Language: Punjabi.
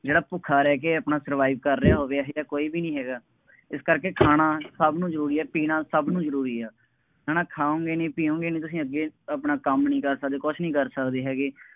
ਜਿਹੜਾ ਭੁੱਖਾ ਰਹਿ ਕੇ ਆਪਣਾ survive ਕਰ ਰਿਹਾ ਹੋਵੇ। ਇਹੋ ਜਿਹਾ ਕੌਈ ਵੀ ਨਹੀਂ ਹੈਗਾ, ਇਸ ਕਰਕੇ ਖਾਣਾ ਸਭ ਨੂੰ ਜ਼ਰੂਰੀ ਹੈ। ਪੀਣਾ ਸਭ ਨੂੰ ਜ਼ਰੂਰੀ ਹੈ। ਹੈ ਨਾ ਖਾਉਗੇ ਨਹੀਂ, ਪੀਉਗੇ ਨਹੀਂ ਤੁਸੀਂ ਅੱਗੇ ਆਪਣਾ ਕੰਮ ਨਹੀਂ ਕਰ ਸਕਦੇ, ਕੁੱਛ ਨਹੀਂ ਕਰ ਸਕਦੇ, ਹੈਗੇ।